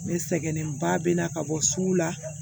Ne sɛgɛnnenba bɛ na ka bɔ sugu la